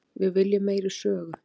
Við viljum meiri sögu.